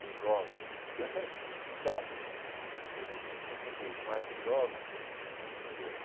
dos jovens, a descrença justificada né pelos líderes mais idosos, é muito grande.